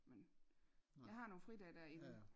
Men jeg har nogle fridage dér inden